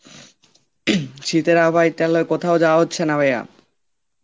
হম শীতের আবহাওয়ায় তাহলে কোথাও যাওয়া হচ্ছে না ভাইয়া.